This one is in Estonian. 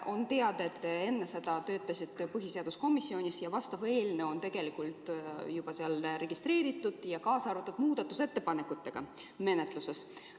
" On teada, et te seni töötasite põhiseaduskomisjonis ja vastav eelnõu on tegelikult juba seal registreeritud ja muudatusettepanekutega menetluses.